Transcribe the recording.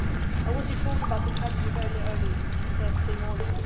I was informed about the tragedy very early on Thursday morning.